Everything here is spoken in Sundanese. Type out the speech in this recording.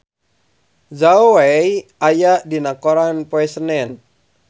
Zhao Wei aya dina koran poe Senen